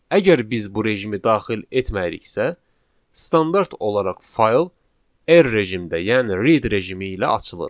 Əgər biz bu rejimi daxil etməyiriksə, standart olaraq fayl R rejimdə, yəni read rejimi ilə açılır.